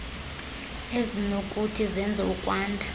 ezinokuthi zenze ukwanda